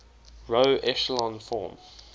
row echelon form